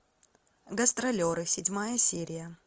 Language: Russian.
гастролеры седьмая серия